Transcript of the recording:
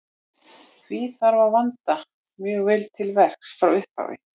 Því þarf að vanda mjög vel til verks frá upphafi.